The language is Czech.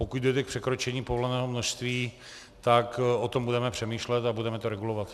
Pokud dojde k překročení povoleného množství, tak o tom budeme přemýšlet a budeme to regulovat.